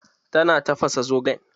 Ta na tafasa zogalen?